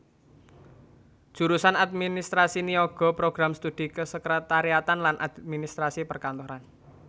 Jurusan Administrasi Niaga Program Studi Kesekretariatan lan Administrasi Perkantoran